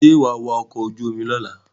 Sọ ma wa ọkọ̀ ojú omi lọ́la?